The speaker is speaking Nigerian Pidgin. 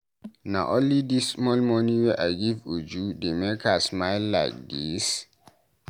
Na only dis small money wey I give Uju dey make her smile like dis?